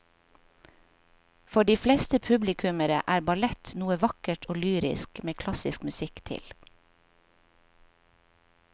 For de fleste publikummere er ballett noe vakkert og lyrisk med klassisk musikk til.